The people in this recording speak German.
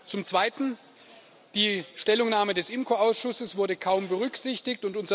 Zum Zweiten Die Stellungnahme des IMCO Ausschusses wurde kaum berücksichtigt.